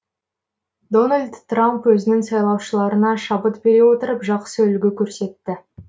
дональд трамп өзінің сайлаушыларына шабыт бере отырып жақсы үлгі көрсетті